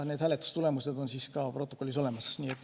Need hääletustulemused on ka protokollis olemas.